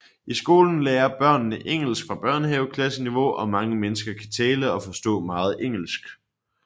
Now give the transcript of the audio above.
I skolen lærer børnene engelsk fra børnehaveklasseniveau og mange mennesker kan tale og forstå meget engelsk